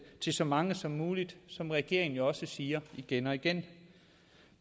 til så mange som muligt som regeringen jo også siger igen og igen